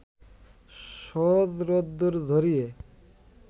সহজ রোদ্দুর ঝরিয়ে